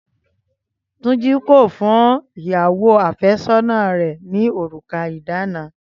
Túnjí kò fún ìyàwó àfẹ́sọ́nà rẹ̀ ní òrùka ìdána